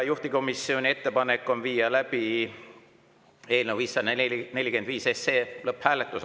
Juhtivkomisjoni ettepanek on viia läbi eelnõu 545 lõpphääletus.